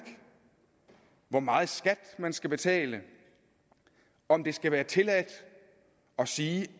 hvor meget skat man skal betale om det skal være tilladt at sige